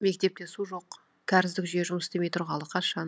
мектепте су жоқ кәріздік жүйе жұмыс істемей тұрғалы қашан